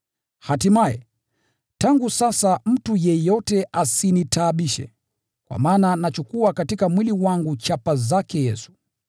Hatimaye, tangu sasa mtu yeyote asinitaabishe, kwa maana nachukua katika mwili wangu chapa zake Yesu.